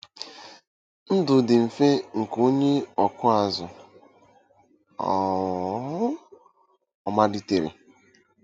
Ndụ dị mfe nke onye ọkụ azụ um ọ̀ malitere?